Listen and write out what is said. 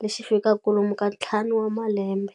lexi fikaku lomu ka ntlhanu wa malembe.